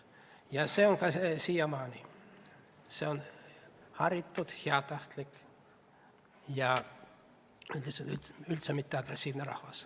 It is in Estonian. Ja see on nii siiamaani – see rahvas on haritud, heatahtlik ja üldse mitte agressiivne.